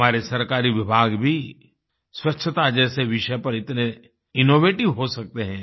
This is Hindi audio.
हमारे सरकारी विभाग भी स्वच्छता जैसे विषय पर इतने इनोवेटिव हो सकते हैं